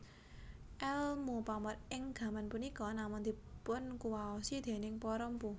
Èlmu pamor ing gaman punika namung dipunkuwaosi déning para mpu